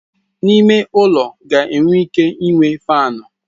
N'ime ulo ga enwe ike inwe faanụ.